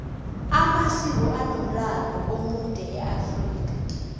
amasiko anomlando omude eafrika